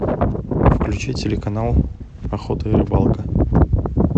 включи телеканал охота и рыбалка